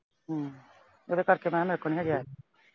ਹਮ ਉਹਦੇ ਕਰਕੇ ਮੈਂ ਕਿਹਾ ਮੇਰੇ ਕੋਲੋਂ ਨਈਂ ਹਜੇ ਆਇਆ ਜਾਣਾ।